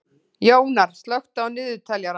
Jónar, slökktu á niðurteljaranum.